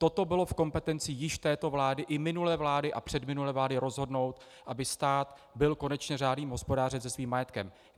Toto bylo v kompetenci již této vlády i minulé vlády a předminulé vlády rozhodnout, aby stát byl konečně řádným hospodářem se svým majetkem.